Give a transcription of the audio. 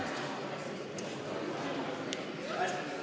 Istungi lõpp kell 11.14.